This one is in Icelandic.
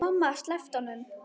Mamma sleppti honum.